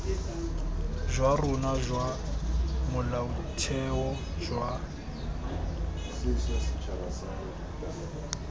jwa rona jwa molaotheo jwa